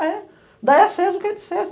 É. Daí é ceso o que ele dissesse.